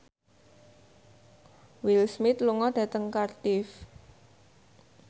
Will Smith lunga dhateng Cardiff